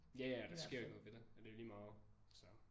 Ja ja der sker jo ikke noget ved det. Det er lige meget så